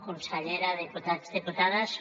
consellera diputat diputades